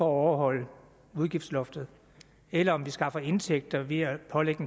overholde udgiftsloftet eller om vi skaffer indtægter ved at pålægge